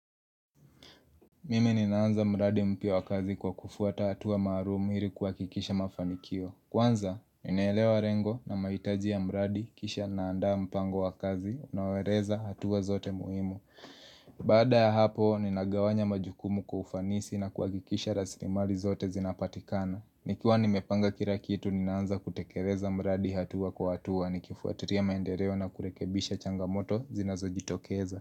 Mimi ninaanza mradi mpya wa kazi kwa kufuata hatua maarumu iri kuhakikisha mafanikio. Kwanza, ninaelewa rengo na maitaji ya mradi, kisha naandaa mpango wa kazi, unaoeleza hatua zote muhimu. Baada ya hapo, ninagawanya majukumu kwa ufanisi na kuhakikisha rasimali zote zinapatikana. Nikiwa nimepanga kira kitu, ninaanza kutekereza mradi hatua kwa hatua, nikifuatiria maendereo na kurekebisha changamoto zinazojitokeza.